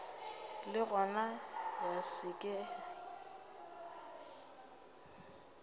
le gona ya se ke